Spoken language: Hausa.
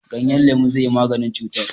Ganyen lemu zai yi maganin cutar.